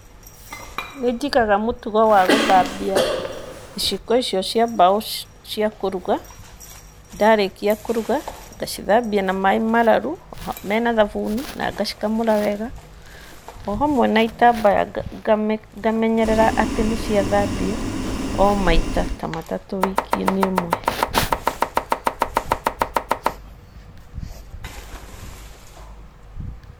Nĩ njigaga mũtugo wa gũthambia, iciko icio cia mbaũ, cia kũruga, ndarĩkia kũruga, ngacithambia na maaĩ mararu, mena thabuni, na ngacikamũra wega,o hamwe na itambaya, ngamenyerera atĩ nĩ ciathambio, o maita ta matatũ wiki-inĩ ĩmwe